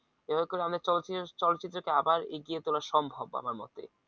চলচ্চিত্রকে কে আবার এগিয়ে চলা সম্ভব আমার মতে